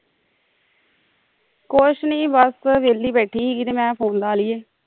ਕੁਛ ਨੀਂ ਬਸ ਵਿਹਲੀ ਬੈਠੀ ਹੀਗੀ ਹੀ ਮੈਂ ਕਿਆ ਫੋਨ ਲਾ ਲਲ਼ੀਏ